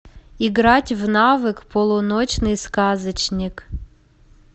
играть в навык полуночный сказочник